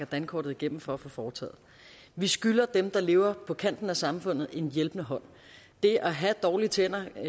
dankortet igennem for at få foretaget vi skylder dem der lever på kanten af samfundet en hjælpende hånd det at have dårlige tænder